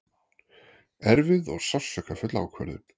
Erfið og sársaukafull ákvörðun